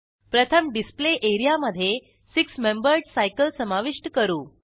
प्रथम डिस्प्ले एरियामधे six membered cycle समाविष्ट करू